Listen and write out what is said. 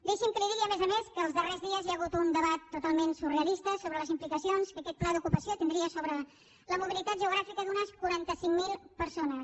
deixi’m que li digui a més a més que en els darrers dies hi ha hagut un debat totalment surrealista sobre les implicacions que aquest pla d’ocupació tindria sobre la mobilitat geogràfica d’unes quaranta cinc mil persones